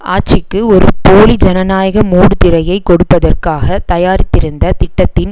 ஆட்சிக்கு ஒரு போலி ஜனநாயக மூடு திரையை கொடுப்பதற்காக தயாரித்திருந்த திட்டத்தின்